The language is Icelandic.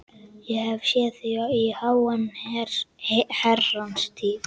Ég hef ekki séð þig í háa herrans tíð.